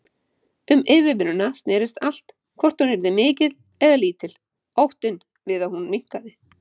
Um yfirvinnuna snerist allt, hvort hún yrði mikil eða lítil, óttinn við að hún minnkaði.